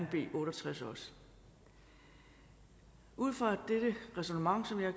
b otte og tres også ud fra dette ræsonnement som jeg